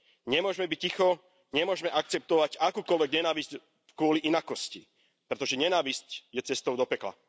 Nemôžeme byť ticho, nemôžeme akceptovať akúkoľvek nenávisť kvôli inakosti. Pretože nenávisť je cestou do pekla.